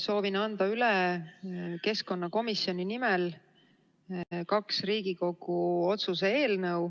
Soovin keskkonnakomisjoni nimel anda üle kaks Riigikogu otsuse eelnõu.